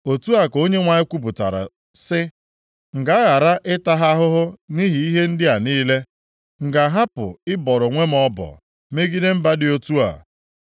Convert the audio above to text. Otu a ka Onyenwe anyị kwupụtara sị, “M ga-aghara ịta ha ahụhụ nʼihi ihe ndị a niile? M ga-ahapụ ịbọrọ onwe m ọbọ megide mba dị otu a?”